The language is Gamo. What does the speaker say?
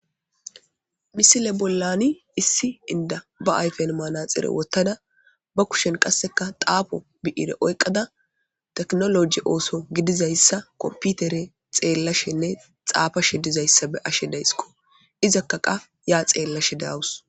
misile bollani issi inda ba ayfen maanaxire wottada ba kushen qasseka taafo bi7ire oyqada teknoloji ooso gidizayssa komputere xeellashenne xaafashe dizayssa be ashe daysikko izakka qa yaa xeellashe dayawus